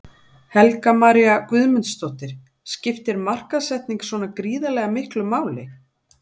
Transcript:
Helga María Guðmundsdóttir: Skiptir markaðssetning svona gríðarlega miklu máli?